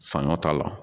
Saɲɔ t'a la